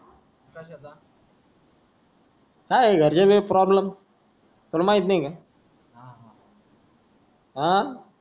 काय घरचे भिग प्रॉब्लेम तू ला माहिती नी का हा